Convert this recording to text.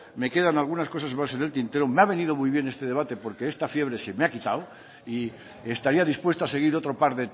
me quedan algunas cosas más en el tintero me ha venido muy bien este debate porque esta fiebre se me ha quitado y estaría dispuesto a seguir otro par